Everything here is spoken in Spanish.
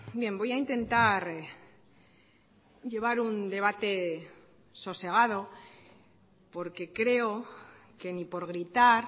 bien voy a intentar llevar un debate sosegado porque creo que ni por gritar